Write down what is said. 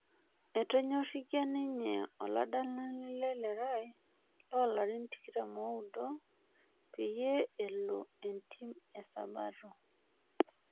Eonyorikia ninye oladalani le Lerai looolarin 29, peyie elo entiim e Sabato.